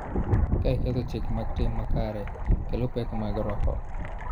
Kae ketho chike mag tim makare kelo pek mag roho.